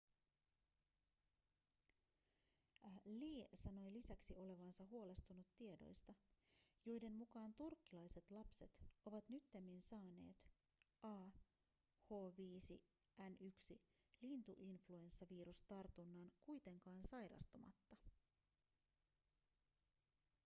lee sanoi lisäksi olevansa huolestunut tiedoista joiden mukaan turkkilaiset lapset ovat nyttemmin saaneet ah5n1-lintuinfluenssavirustarunnan kuitenkaan sairastumatta